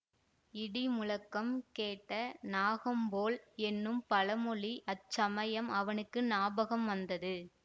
இடி முழக்கம் கேட்ட நாகம் போல் என்னும் பழமொழி அச்சமயம் அவனுக்கு ஞாபகம் வந்தது